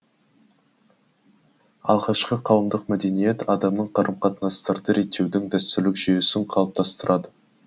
алғашқы қауымдық мәдениет адамдық қарым қатынастарды реттеудің дәстүрлік жүйесін қалыптастырады